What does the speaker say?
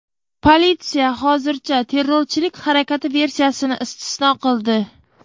Politsiya hozircha terrorchilik harakati versiyasini istisno qildi.